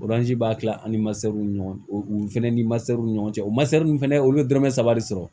b'a kila ani w ni ɲɔgɔn cɛ u fɛnɛ ni ɲɔgɔn cɛ o fɛnɛ olu be dɔrɔmɛ saba de sɔrɔ